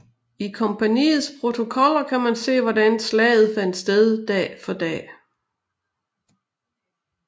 I kompaniets protokoller kan man se hvordan salget fandt sted dag for dag